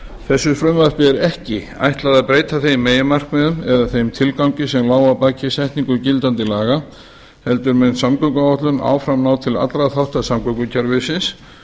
þessu frumvarpi er ekki ætlað að breyta þeim meginmarkmiðum eða þeim tilgangi sem lá að baki setningu gildandi laga heldur mun samgönguáætlun áfram ná til allra þátta samgöngukerfisins